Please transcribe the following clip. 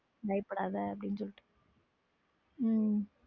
பயப்படாதே அப்படி சொல்லுங் உம்